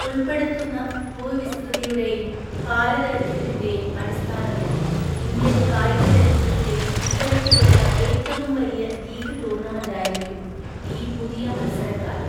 ഉള്‍പ്പെടുത്തുന്ന ഭൂവിസ്തൃതിയുടെയും കാലദൈർഘ്യത്തിന്റെയും അടിസ്ഥാനത്തിൽ ഇന്ത്യൻ കായിക ചരിത്രത്തിലെ ഇത്തരത്തിലുള്ള ഏറ്റവും വലിയ ലീഗ് ടൂർണമെന്റായിരിക്കും ഈ പുതിയ മത്സരക്കാലം .